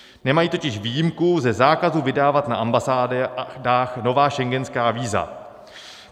Nemají totiž výjimku ze zákazu vydávat na ambasádách nová schengenská víza.